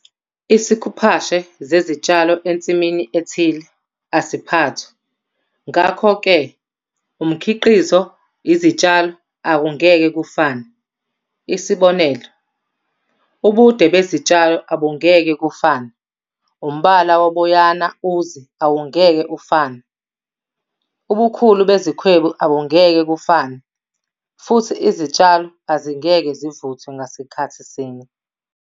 Isikhuphashe zezitshalo ensimini ethile asiphathwa, ngakho-ke umkhiqizo, izitshalo akungeke kufane, isibonelo- ubude bezitshalo abungeke kufane, umbala woboyana, uzi awungeke ufane, ubukhulu bezikhwebu abungeke kufane futhi izitshalo azingeke zivuthwe ngasikhathi sinye.